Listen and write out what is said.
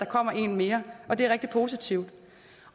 kommer en mere og det er rigtig positivt